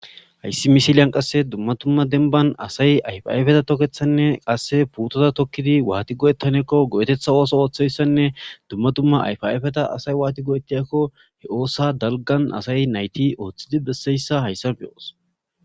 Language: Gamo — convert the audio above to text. Hayssi misiliyan qasse dumma tumma denban asay ayfayfeta tokethanne qasse putoza tokkidi waati go'ettanekko go'etetha ooso ooththeyssanne dumma tumma ayfaifeta asay waati go'ettiyakko he oossa dalgan asay nayti ooththidi besseyssa hayssan beyoos